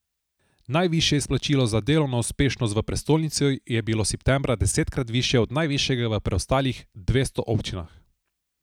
Najvišje izplačilo za delovno uspešnost v prestolnici je bilo septembra desetkrat višje od najvišjega v preostalih dvesto občinah.